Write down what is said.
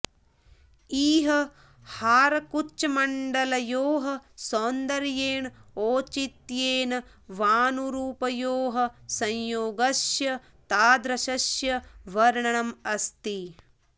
इह हारकुचमण्डलयोः सौन्दर्येण औचित्येन वानुरूपयोः संयोगस्य तादृशस्य वर्णनमस्ति